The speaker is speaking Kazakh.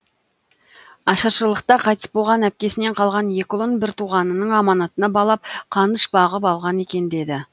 ашаршылықта қайтыс болған әпкесінен қалған екі ұлын бір туғанының аманатына балап қаныш бағып алған екен деді